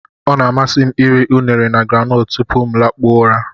Ọ na-amasị m iri unere na groundnut tupu m lakpuo ụra.